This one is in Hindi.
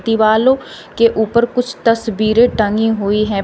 दिवालो के ऊपर कुछ तस्वीरें टंगी हुई हैं।